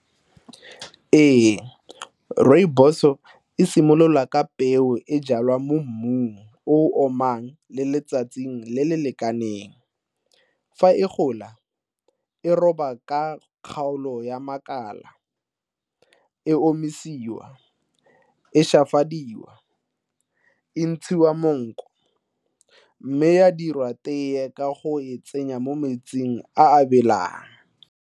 Ee, rooibos-o e simolola ka peo e jalwa mo mmung o omang le letsatsing le le lekaneng. Fa e gola, e roba ka kgaolo ya makala, e omisiwa, e , e ntshiwa monko mme ya dirwa tee ka go e tsenya mo metsing a a belang.